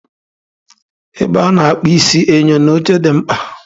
N'ebe a na-akpụ isi, enyo na oche dị mkpa